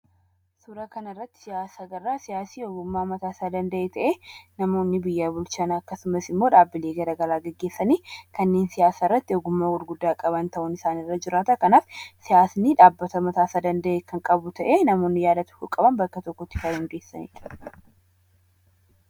Suuraa kanarratti kan argaa jirru siyaasa mataasaa danda'e ta'ee, namoonni biyya bulchan akkasumas immoo dhaabbilee garaagaraa hundeessanii kanneen siyaasarratti ogummaa guddaa qaban irra jiranii fi dhaabbata mataasaa danda'e kan qabanidha.